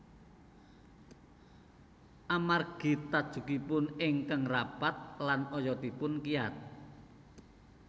Amargi tajukipun ingkang rapat lan oyotipun kiyat